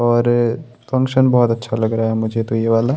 और फंक्शन बहुत अच्छा लग रहा है मुझे तो ये वाला।